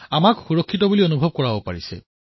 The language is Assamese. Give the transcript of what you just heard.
আমাক সুৰক্ষিত অনুভৱ কৰোৱাইছে